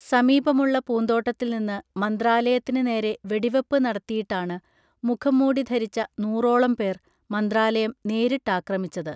സമീപമുള്ള പൂന്തോട്ടത്തിൽനിന്ന് മന്ത്രാലയത്തിന് നേരെ വെടിവെപ്പ് നടത്തിയിട്ടാണ് മുഖംമൂടി ധരിച്ച നൂറോളം പേർ മന്ത്രാലയം നേരിട്ടാക്രമിച്ചത്